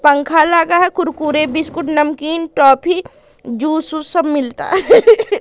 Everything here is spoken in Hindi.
पंखा लगा है कुरकुरे बिस्कुट नमकीन टॉफी जूस ऊस सब मिलता है।